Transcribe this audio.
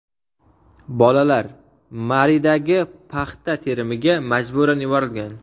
bolalar) Maridagi paxta terimiga majburan yuborilgan.